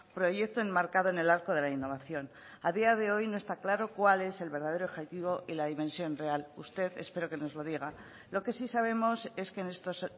proyecto enmarcado en el arco de la innovación a día de hoy no está claro cuál es el verdadero objetivo y la dimensión real usted espero que nos lo diga lo que sí sabemos es que en estos